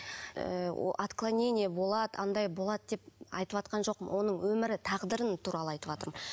ыыы отклонение болады анадай болады деп айтыватқан жоқпын оның өмірі тағдырын туралы айтыватырмын